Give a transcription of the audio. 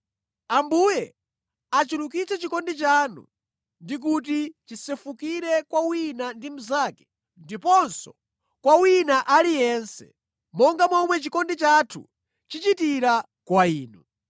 Ambuye achulukitse chikondi chanu ndi kuti chisefukire kwa wina ndi mnzake ndiponso kwa wina aliyense, monga momwe chikondi chathu chichitira kwa inu.